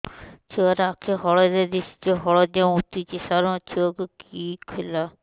ଛୁଆ ର ଆଖି ହଳଦିଆ ଦିଶୁଛି ହଳଦିଆ ମୁତୁଛି ସାର ମୋ ଛୁଆକୁ କି ହେଲା